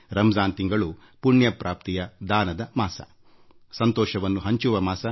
ರಂಜಾನ್ ಮಾಸ ಧರ್ಮಕಾರ್ಯದ ಮತ್ತು ಸಂತಸ ಹಂಚಿಕೊಳ್ಳುವ ಮಾಸ